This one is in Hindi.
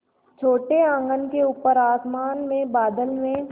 छोटे आँगन के ऊपर आसमान में बादल में